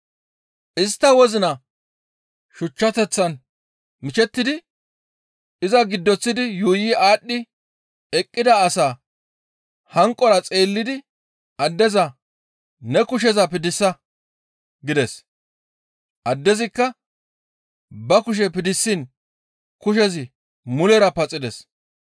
Istta wozina shuchchateththan mishettidi iza giddoththidi yuuyi aadhdhi eqqida asaa hanqora xeellidi addeza, «Ne kusheza piddisa!» gides. Addezikka ba kushe piddisiin kushezi mulera paxides.